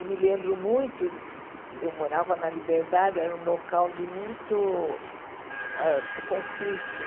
E me lembro muito, eu morava na Liberdade, era um local de muito ãh conflito.